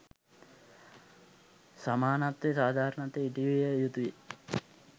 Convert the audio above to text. සමානත්වය සාධාරණත්වය ඉටුවිය යුතුයි.